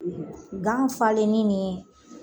Gan falenni ni